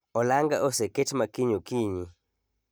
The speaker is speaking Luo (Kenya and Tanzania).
Olanga oseket makiny okiny